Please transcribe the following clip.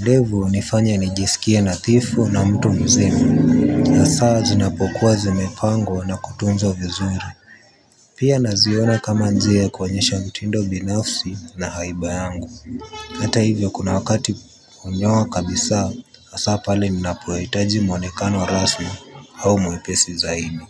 ndevu unifanya nijisikie natifu na mtu mzima. Asaa zinapokuwa zimepangwa na kutunzwa vizuri. Pia naziona kama njia kuwonyesha mtindo binafsi na haibayangu. Hata hivyo kuna wakati unyowa kabisa asaa pale minapowaitaji mwonekano rasmi au muwepesi zaidi.